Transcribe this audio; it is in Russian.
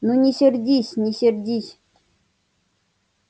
ну не сердись не сердись